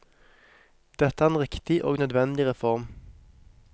Dette er en riktig og nødvendig reform.